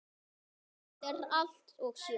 Þetta er allt og sumt